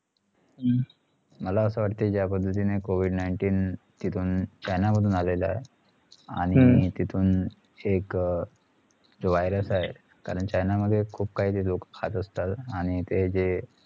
मला असा वाटले जा पद्धतींनी covid nineteen तिथून चाइना मधुन आलेला आहे आणि तिथून एक अह जो virus आहे कारण चाइना मध्ये खुप खाही लोक खात असतात आणि ते जे